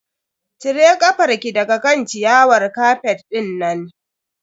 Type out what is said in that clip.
Cire kafar ki daga kan ciyawar kafet dinnan.